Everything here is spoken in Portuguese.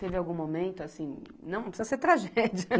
Teve algum momento assim, não precisa ser tragédia.